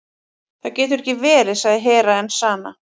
Það getur ekki verið, sagði Hera Enzana.